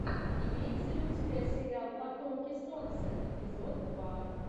имеется ли у тебя сериал потомки солнца эпизод два